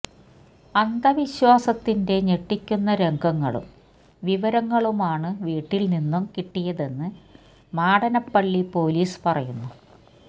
അന്ധ വിശ്വാസത്തിന്റെ ഞെട്ടിക്കുന്ന രംഗങ്ങളും വിവരങ്ങളുമാണ് വീട്ടില് നിന്നും കിട്ടിയതെന്ന് മാടനപ്പള്ളി പോലീസ് പറയുന്നു